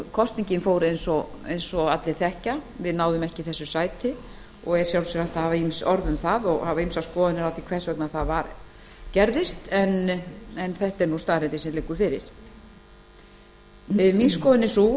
kosningin fór eins og allir þekkja við náðum ekki sæti og er í sjálfu sér hægt að hafa ýmis orð um það og ýmsar skoðanir á því hvers vegna svo fór en þetta er sú staðreynd sem liggur fyrir skoðun mín er sú